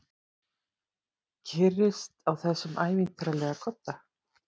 Kyrrist á þessum ævintýralega kodda.